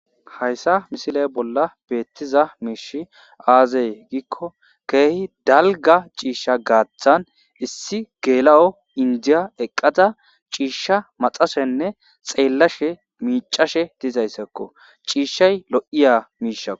hayssa misile bolla beettiza miishshay aaze giikko ke'hi dalgga ciishsha gaaththan issi geela'o indiya eqqadda ciishsha maxashshenne xeellashe miicashshe dizayssakko ciishshay lo'iya miishshakko